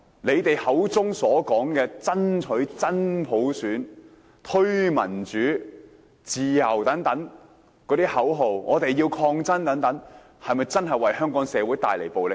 他們口中所說的爭取真普選、推動民主自由、抗爭到底等口號，有否真正為香港社會帶來暴力？